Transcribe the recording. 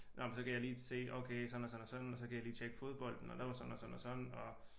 Nåh men så kan jeg lige se okay sådan og sådan og sådan og så kan jeg lige tjekke fodbolden og der var sådan og sådan og sådan og